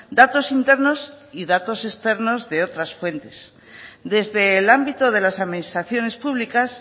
datos internos y datos externos de otras fuentes desde el ámbito de las administraciones públicas